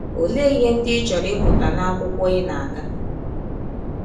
Ọlee ihe ndị ị chọrọ ịmụta n’akwụkwọ ị na - aga?